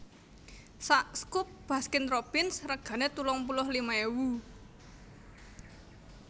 sak scoop Baskin Robbins regane telung puluh lima ewu